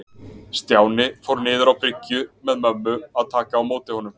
Stjáni fór niður á bryggju með mömmu að taka á móti honum.